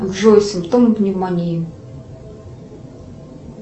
джой симптомы пневмонии